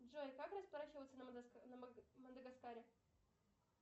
джой как расплачиваться на мадагаскаре